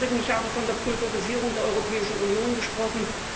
Im Übrigen ich habe von der Pulverisierung der Europäischen Union gesprochen.